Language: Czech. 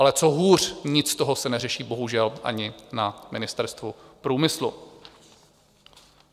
Ale co hůř, nic z toho se neřeší bohužel ani na Ministerstvu průmyslu.